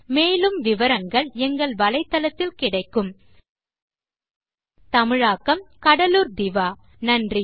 spoken hyphen tutorial dot org slash நிமைக்ட் hyphen intro மூல பாடம் இட் போர் changeதமிழாக்கம் கடலூர் திவா நன்றி